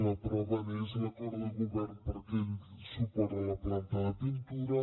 la prova n’és l’acord de govern per aquell suport a la planta de pintura